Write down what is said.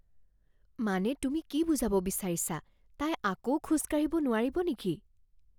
মানে তুমি কি বুজাব বিচাৰিছা? তাই আকৌ খোজ কাঢ়িব নোৱাৰিব নেকি?